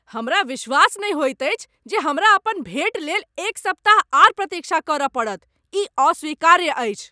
हमरा विश्वास नहि होइत अछि जे हमरा अपन भेट लेल एक सप्ताह आर प्रतीक्षा करय पड़त। ई अस्वीकार्य अछि।